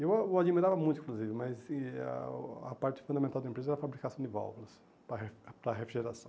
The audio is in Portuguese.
Eu o o admirava muito, inclusive, mas e a parte fundamental da empresa era a fabricação de válvulas para re para refrigeração.